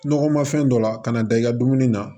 Nɔgɔma fɛn dɔ la kana da i ka dumuni na